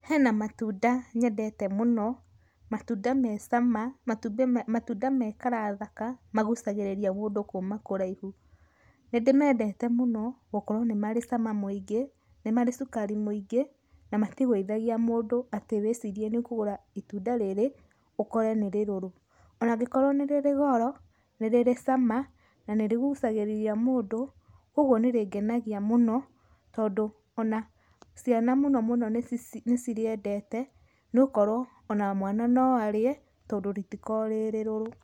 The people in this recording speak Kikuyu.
Hena matunda nyendete mũno, matunda me cama, matunda me colour thaka, magũcagĩrĩria mũndũ kuuma kũraihu, nĩndĩmendete mũno gũkorwo nĩmarĩ cama múũngĩ, nĩmarĩ cukari mũingĩ na matigwĩthagia mũndũ atĩ wĩcirie nĩ kũgũra itunda rĩrĩ ũkore nĩ rĩrũrũ. Onaa angĩkorwo nĩrĩ goro, nĩrĩ cama na nĩrĩgũcagĩrĩria mũndũ kwoguo nĩrĩngenagia mũno tondũ ona ciana mũno mũno nĩcirĩendete nokorwo ona mwana noarĩe tondũ rĩtĩkoragwo rĩrĩrũrũ.